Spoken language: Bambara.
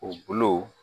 U bulu